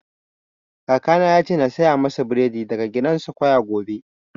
Kaka na ya ce na saya masa buredi daga grandsquare gobe